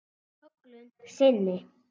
Köllun sinni?